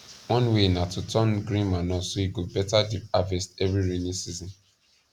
one way na to turn green manure so e go beta the harvest every raining season